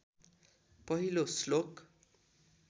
पहिलो श्लोक